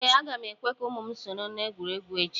ee, a ga m ekwe ka ụmụ m soro na egwuregwu echi